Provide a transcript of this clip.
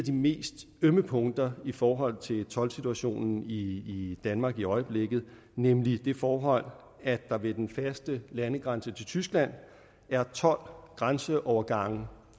mest ømme punkter i forhold til toldsituationen i danmark i øjeblikket nemlig det forhold at der ved den faste landegrænse til tyskland er tolv grænseovergange